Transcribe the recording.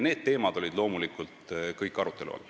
Need teemad olid loomulikult kõik arutelu all.